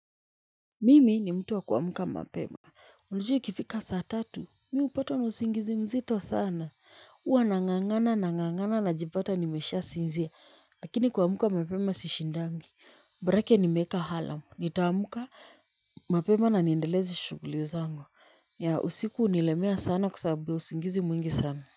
Mimi ni mtu wa kuamka mapema. Ujue ikifika saa tatu mi hupatwa na usingizi mzito sana. Huwa nang'ang'ana nang'ang'ana najipata nimeshasinzia. Lakini kuamka mapema sishindangi borake nimeeka alamu. Nitaamka mapema na niendeleze shughuli zangu. Ya usiku hunilemea sana kwa sababu ya usingizi mwingi sana.